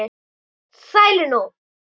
Sælir nú.